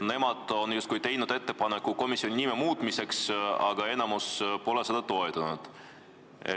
Nemad on justkui teinud ettepaneku komisjoni nime muutmiseks, aga enamik pole seda toetanud.